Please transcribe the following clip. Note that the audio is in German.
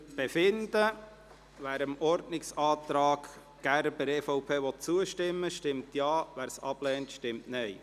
Wer dem Ordnungsantrag Gerber/EVP zustimmen will, stimmt Ja, wer dies ablehnt, stimmt Nein.